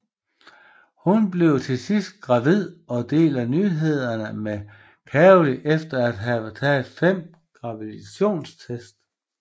Hun bliver til sidst gravid og deler nyhederne med Gary efter at have taget fem graviditetstest